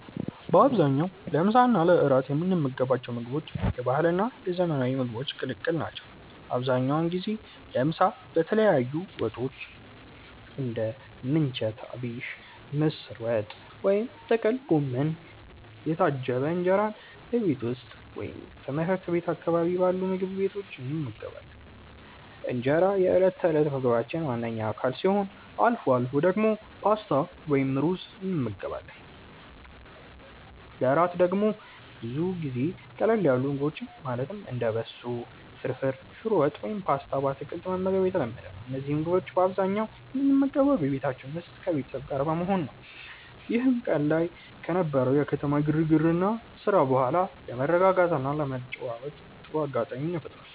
በአብዛኛው ለምሳ እና ለእራት የምንመገባቸው ምግቦች የባህልና የዘመናዊ ምግቦች ቅልቅል ናቸው። አብዛኛውን ጊዜ ለምሳ በተለያዩ ወጦች (እንደ ምንቸት አቢሽ፣ ምስር ወጥ ወይም ጥቅል ጎመን) የታጀበ እንጀራን በቤት ውስጥ ወይም ትምህርት ቤት አካባቢ ባሉ ምግብ ቤቶች እንመገባለን። እንጀራ የዕለት ተዕለት ምግባችን ዋነኛ አካል ሲሆን፣ አልፎ አልፎ ደግሞ ፓስታ ወይም ሩዝ እንመገባለን። ለእራት ደግሞ ብዙ ጊዜ ቀለል ያሉ ምግቦችን ማለትም እንደ በሶ ፍርፍር፣ ሽሮ ወጥ ወይም ፓስታ በአትክልት መመገብ የተለመደ ነው። እነዚህን ምግቦች በአብዛኛው የምንመገበው በቤታችን ውስጥ ከቤተሰብ ጋር በመሆን ነው፤ ይህም ቀን ላይ ከነበረው የከተማ ግርግርና ስራ በኋላ ለመረጋጋትና ለመጨዋወት ጥሩ አጋጣሚ ይፈጥራል።